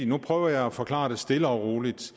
nu prøver jeg at forklare stille og roligt